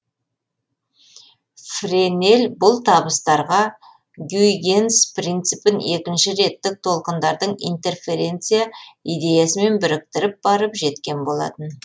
френель бұл табыстарға гюйгенс принципін екінші реттік толқындардың интерференция идеясымен біріктіріп барып жеткен болатын